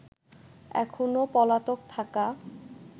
এখনো পলাতক থাকা